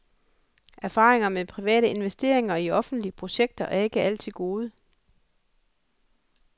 Erfaringerne med private investeringer i offentlige projekter er ikke altid gode.